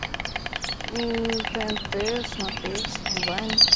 тнт смотреть онлайн